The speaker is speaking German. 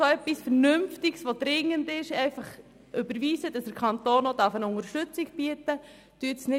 Überweisen Sie etwas Vernünftiges, das dringend ist, damit der Kanton Unterstützung bieten kann.